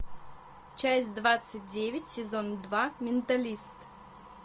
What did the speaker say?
часть двадцать девять сезон два менталист